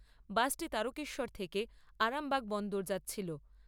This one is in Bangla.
বাসটি তারকেশ্বর থেকে আরামবাগ বন্দর যাচ্ছিল।